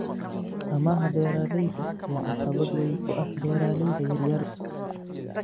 Amaahda beeralayda ayaa caqabad weyn ku ah beeralayda yaryar.